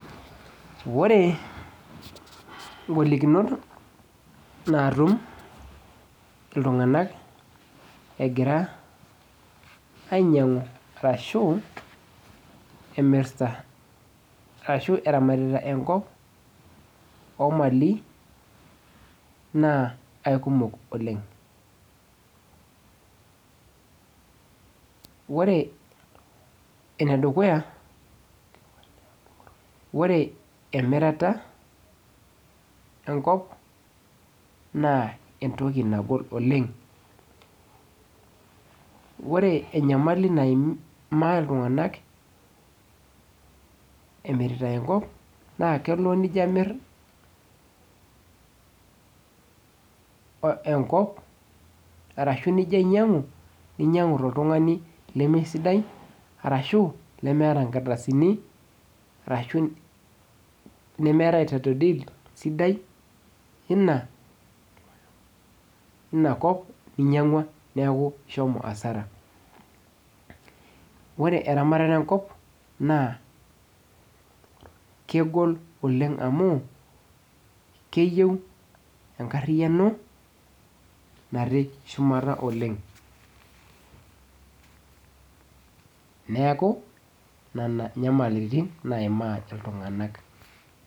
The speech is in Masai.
Ore ingolikinot naatum iltung'ana egira ainyiang'u arashu emirta arashu eramatita enkop omali naa aikumok oleng ore enedukuya ore emirata enkop naa entoki nagol oleng ore enyamali naimaa iltung'anak emirita enkop naa kelo nijio amirr enkop arashu njio ainyiang'u ninyiang'u toltung'ani leme sidai arashu lemeeta inkardasini arashu nemeeta title deed sidai ina, ina kop ninyiang'ua neeku ishomo asara wore eramatata enkop naa kegol oleng amu keyieu enkarriyiano natii shumata oleng neeku nana inyamaliritin naimaa iltung'anak.